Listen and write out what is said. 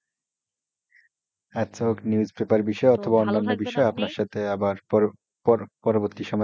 আচ্ছা নিউজপেপার বিষয়ে বা অন্য কোন বিষয়ে আপনার সাথে আপনার সাথে আবার পরবর্তী সময়ে আরও কথা হবে,